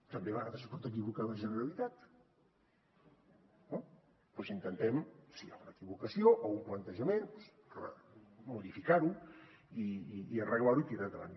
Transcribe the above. també a vegades es pot equivocar la generalitat no doncs intentem si hi ha una equivocació o un plantejament modificar ho i arreglar ho i tirar endavant